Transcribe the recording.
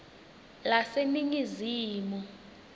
laseningizimu